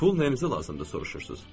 Pul nəyinizə lazımdır soruşursuz?